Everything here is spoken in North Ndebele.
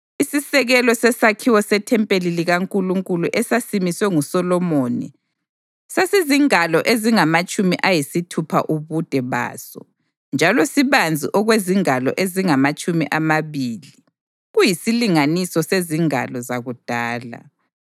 Isisekelo sesakhiwo sethempeli likaNkulunkulu esasimiswe nguSolomoni sasizingalo ezingamatshumi ayisithupha ubude baso njalo sibanzi okwezingalo ezingamatshumi amabili (kuyisilinganiso sezingalo zakudala).